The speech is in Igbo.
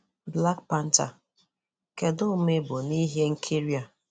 Black Panther: Kedụ ụ̀ma ị bụ na ihe nkiri a?